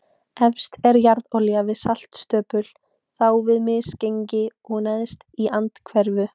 Efst er jarðolía við saltstöpul, þá við misgengi og neðst í andhverfu.